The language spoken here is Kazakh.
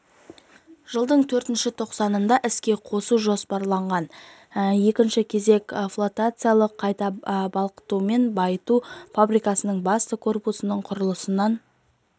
жылдың төртінші тоқсанында іске қосу жоспарланған екінші кезек флотациялық қайта балқытумен байыту фабрикасының басты корпусының құрылысынан